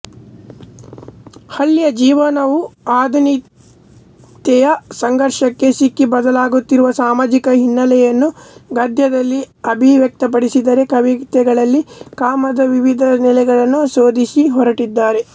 ಹಳ್ಳಿಯ ಜೀವನವು ಆಧುನಿತೆಯ ಸಂಘರ್ಷಕ್ಕೆ ಸಿಕ್ಕಿ ಬದಲಾಗುತ್ತಿರುವ ಸಾಮಾಜಿಕ ಹಿನ್ನೆಲೆಯನ್ನು ಗದ್ಯದಲ್ಲಿ ಅಭಿವ್ಯಕ್ತಪಡಿಸಿದರೆ ಕವಿತೆಗಳಲ್ಲಿ ಕಾಮದ ವಿವಿಧ ನೆಲೆಗಳನ್ನು ಶೋಧಿಸಹೊರಟಿದ್ದಾರೆ